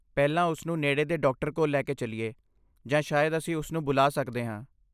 ਪਹਿਲਾਂ ਉਸ ਨੂੰ ਨੇੜੇ ਦੇ ਡਾਕਟਰ ਕੋਲ ਲੈ ਕੇ ਚੱਲੀਏ, ਜਾਂ ਸ਼ਾਇਦ ਅਸੀਂ ਉਸ ਨੂੰ ਬੁਲਾ ਸਕਦੇ ਹਾਂ।